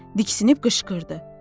Diksindi qışqırdı.